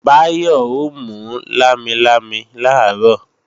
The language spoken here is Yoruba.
Báyọ̀ ó mú lámilámi làárọ̀